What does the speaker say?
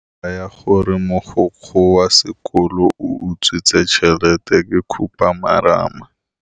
Taba ya gore mogokgo wa sekolo o utswitse tšhelete ke khupamarama.